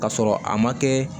K'a sɔrɔ a ma kɛ